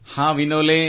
ಹಾಂ ವಿನೋಲೆ